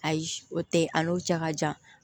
Ayi o tɛ yen a n'o cɛ ka jan